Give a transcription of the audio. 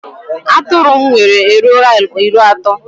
Atụrụ m nwere eruola iri ato